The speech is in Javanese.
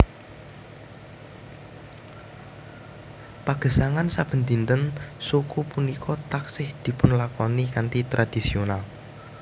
Pagesangan saben dinten suku punika taksih dipunlakoni kanthi tradhisional